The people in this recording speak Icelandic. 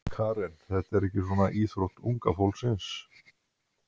Karen: Þetta er ekki svona íþrótt unga fólksins?